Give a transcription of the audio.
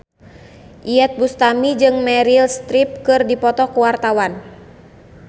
Iyeth Bustami jeung Meryl Streep keur dipoto ku wartawan